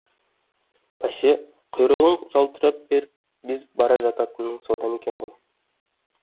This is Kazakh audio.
бәсе құйрығың жалтырап безіп бара жататының содан екен ғой